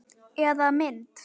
Eða mynd.